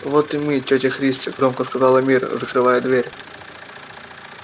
вот и мы тётя христя громко сказала мирра закрывая дверь